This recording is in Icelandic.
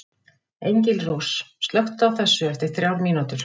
Engilrós, slökktu á þessu eftir þrjár mínútur.